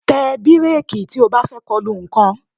Tẹ bíréèkì tí o bá fẹ́ kolu nǹkan